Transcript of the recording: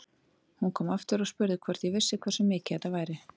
Hún kom aftur og spurði hvort ég vissi hversu mikið þetta væri.